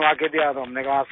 تو ہم نے کہا سر ہمارے پاس ہے